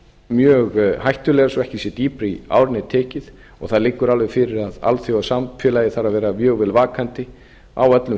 mjög hættulegar svo ekki sé dýpra í árinni tekið og það liggur alveg fyrir að alþjóðasamfélagið þarf að vera mjög vel vakandi á öllum